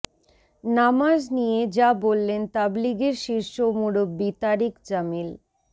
নামাজ নিয়ে যা বললেন তাবলিগের শীর্ষ মুরব্বি তারিক জামিল